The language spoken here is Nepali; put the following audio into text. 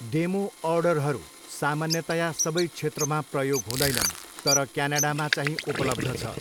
डेमो अर्डरहरू सामान्यतया सबै क्षेत्रमा प्रयोग हुँदैनन्, तर क्यानाडामा चाहिँ उपलब्ध छ।